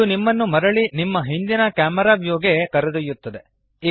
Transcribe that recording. ಇದು ನಿಮ್ಮನ್ನು ಮರಳಿ ನಿಮ್ಮ ಹಿಂದಿನ ಕ್ಯಾಮೆರಾ ವ್ಯೂಗೆ ಕರೆದೊಯ್ಯುತ್ತದೆ